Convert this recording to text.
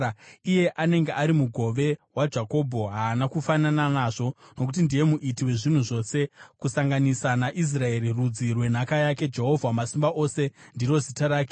Iye anenge ari mugove waJakobho haana kufanana nazvo, nokuti ndiye Muiti wezvinhu zvose, kusanganisa naIsraeri, rudzi rwenhaka yake, Jehovha Wamasimba Ose ndiro zita rake.